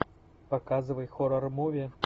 показывай хоррор муви